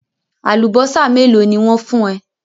Àlùbọ́sà mélòó ni wọ́n fún ẹ?